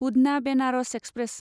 Udhna Banaras express